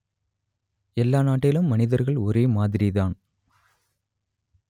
எல்லா நாட்டிலும் மனிதர்கள் ஒரே மாதிரிதான்